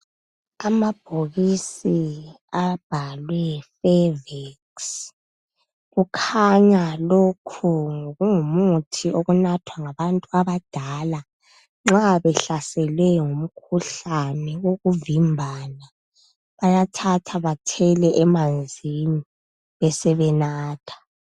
Amabhokisi abhalwe fervex . Kukhanya lokhu ngokungumuthi okunathwa ngabantu abadala. Nxa behlaselwe ngumkhuhlane wokuvimbana .Bayathatha bethele emanzini besebenatha .